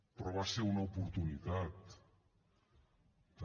però va ser una oportunitat també